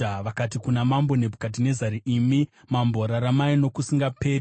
Vakati kuna Mambo Nebhukadhinezari, “Imi mambo, raramai nokusingaperi!